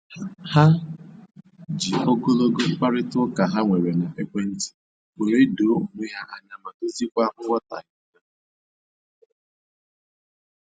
Ha ji ogologo mkparịta ụka ha nwere n'ekwentị were doo onwe ha anya ma doziekwa nghọtahie ha